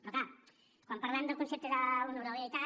però clar quan parlem del concepte d’honorabilitat